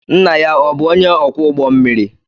Nna ya ọ̀ bụ onye ọkwọ ụgbọ mmiri?